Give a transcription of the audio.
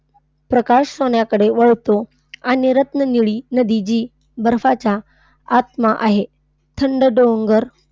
प्रकाश सोन्याकडे वळतो आणि रत्ननिळी नदी जी बर्फाचा आत्मा आहे. थंड डोंगर,